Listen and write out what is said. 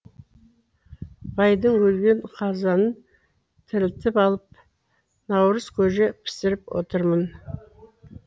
байдың өлген қазанын тірілтіп алып наурыз көже пісіріп отырмын